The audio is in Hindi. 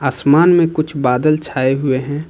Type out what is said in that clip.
आसमान में कुछ बादल छाए हुए हैं।